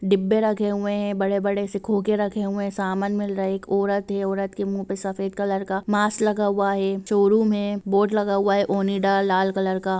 डिब्बे रखे हुए हैबड़े-बड़े से खोके रखे हुए है सामान मिल रहे हैएक औरत है औरत के मुंह पे सफेद कॉलर मास्क लगा हुआ है शोरूम है बोर्ड लगा हुआ हैओनिडा लाल कॉलर का।